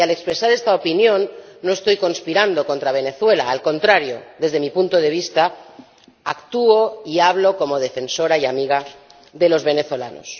Y al expresar esta opinión no estoy conspirando contra Venezuela, al contrario, desde mi punto de vista, actúo y hablo como defensora y amiga de los venezolanos.